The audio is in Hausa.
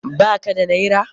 Ba ka da naira?